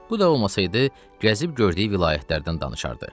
Bu da olmasaydı, gəzib gördüyü vilayətlərdən danışardı.